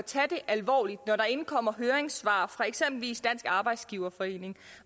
tage det alvorligt når der indkommer høringssvar fra eksempelvis dansk arbejdsgiverforening